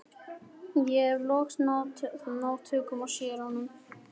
Ég hef loks náð tökum á séranum.